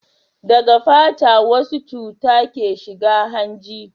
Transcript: daga fata wasu cuta ke shiga hanji